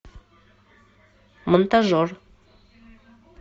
монтажер